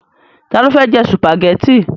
Ta ló fẹ́ jẹ sùpàgẹ́tì?